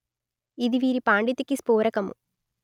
ఇది వీరి పాండితికి స్ఫోరకము